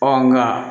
Ɔ nka